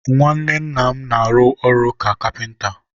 nwanne nna m na-arụ ọrụ ka kapịnta.